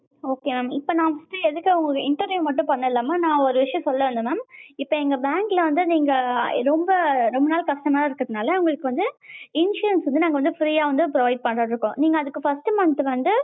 okay mam இப்ப நா வந்திட்டு எதுக்காக interview மட்டும் பன்னல mam நா ஒரு விஷயம் சொல்ல வந்தேன் mam. இப்ப எங்க bank ல வந்து நீங்க ரொம்ப ரொம்ப நாள் customer இருக்ரனால உங்களுக்கு வந்து insurance வந்து நாங்க வந்து free யா வந்து provide பண்லாம்னு இருக்கோம். நீங்க அதுக்கு first month வந்து